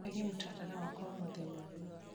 eheria mũtaratara wakwa wa mũthenya ũyũ